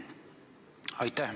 Aitäh!